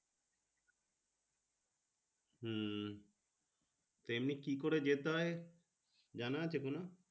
হম এমনি কি করে যেতে হয় জানা আছে কোনো